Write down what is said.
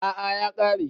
A'a ya kare